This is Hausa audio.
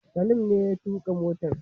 Salim ne ya tuƙa motar